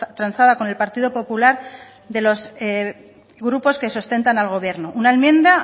transada con el partido popular de los grupos que sustentan al gobierno una enmienda